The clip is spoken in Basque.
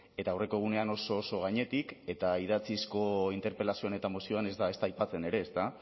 eta aurreko egunean oso oso gainetik eta idatzizko interpelazioan eta mozioan ez da ezta aipatzen ere ezta